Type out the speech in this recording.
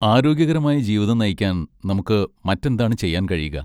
ആരോഗ്യകരമായ ജീവിതം നയിക്കാൻ നമുക്ക് മറ്റെന്താണ് ചെയ്യാൻ കഴിയുക?